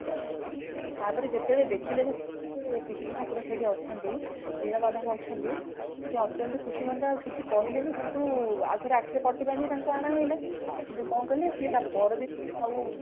ତା ପରେ ଯେତେବେଳେ ଦେଖିଲେ ଯେ ବିଷ୍ଣୁ ଠାକୁର ସେଇଠି ଅଛନ୍ତି ନୀଳମାଧବ ଅଛନ୍ତି ସିଏ ଅତ୍ୟନ୍ତ ଖୁସି ମନରେ ଆଉ କିଛି କହିଲେନି କିନ୍ତୁ ଆଗରୁ ଆଖିରେ ପଟି ବନ୍ଧା ହେଇକି ତାଙ୍କୁ ଅଣା ହେଇଗଲା କିନ୍ତୁ କଣ କଲେ ସେ ତା ପର ଦିନ ଆଉ